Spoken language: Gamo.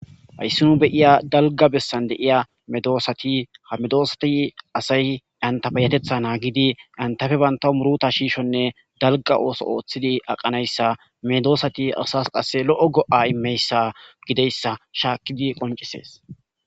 hayssinu beyiya dalga bessan deiya medoosati hamedoosati asay antabayatetha naagidi antafe banta muruta shiishonne dalga ooso ooththidi aqanayssa medoosati asas qasse lo7o go7a immeyssa gideyssa shaakkidi qoncisees